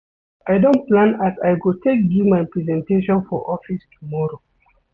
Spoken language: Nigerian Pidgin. I don plan as I go take do my presentation for office tomorrow.